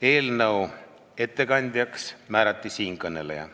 Eelnõu ettekandjaks määrati siinkõneleja.